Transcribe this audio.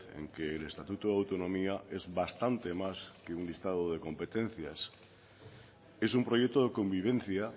en que el estatuto de autonomía es bastante más que un listado de competencias es un proyecto de convivencia